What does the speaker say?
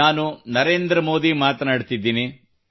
ನಾನು ನರೇಂದ್ರ ಮೋದಿ ಮಾತನಾಡುತ್ತಿದ್ದೇನೆ